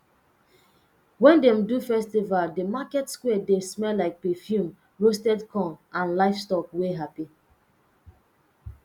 wen dem do festival the market square dey smell like perfume roasted corn and livestock wey happy